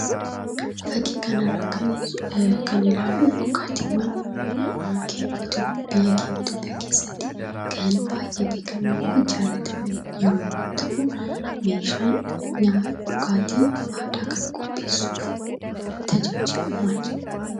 Fakkii kana irraa kan ilaallu dhugaatiiwwan biyya keenya Itoophiyaa keessatti kan baay'ee beekamanii fi jaalataman yommuu ta'u, meeshaan dhugaatii aadaa kana qopheessuuf tajaajilu maal jedhama?